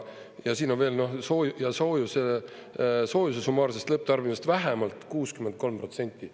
Ja siin on veel: soojuse summaarsest lõpptarbimist vähemalt 63%.